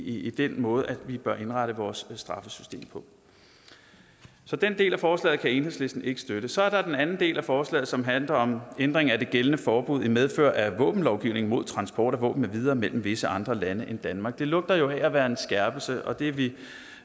i den måde vi bør indrette vores straffesystem på så den del af forslaget kan enhedslisten ikke støtte så er der den anden del af forslaget som handler om ændring af det gældende forbud i medfør af våbenlovgivningen mod transport af våben med videre mellem visse andre lande end danmark det lugter jo af at være en skærpelse og det er vi